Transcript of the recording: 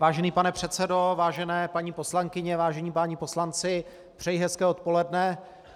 Vážený pane předsedo, vážené paní poslankyně, vážení páni poslanci, přeji hezké odpoledne.